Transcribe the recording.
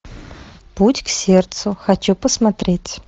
путь к сердцу хочу посмотреть